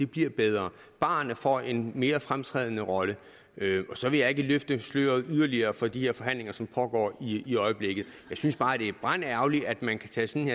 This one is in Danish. bliver bedre barerne får en mere fremtrædende rolle og så vil jeg ikke løfte sløret yderligere for de forhandlinger som pågår i øjeblikket jeg synes bare det er brandærgerligt at man kan tage sådan